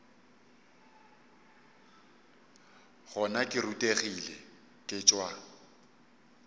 gona ke rutegile ke tšwa